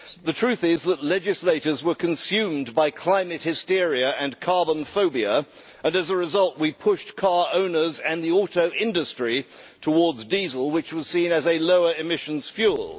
The truth is that legislators were consumed by climate hysteria and carbon phobia and as a result we pushed car owners and the auto industry towards diesel, which was seen as a lower emissions fuel.